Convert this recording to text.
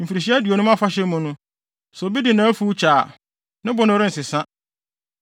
Mfirihyia Aduonum Afahyɛ mu no, sɛ obi de nʼafuw kyɛ a, ne bo no rensesa.